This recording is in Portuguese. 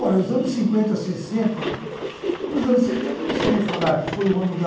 Ora, os anos cinquenta, sessenta... Nos anos setenta, não precisa nem falar, que foi o ano da...